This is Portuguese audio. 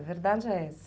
A verdade é essa.